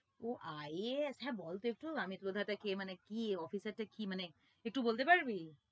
ওহ IAS আচ্ছা বলতো একটু আমিত লোহডা টা কে মানে কি officer টা কি মানে একটু বলতে পারবি?